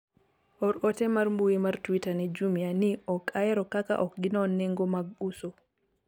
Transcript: or ote mar mbui mar twitter ne jumia ni ok ahero kaka ok ginon nengo mag uso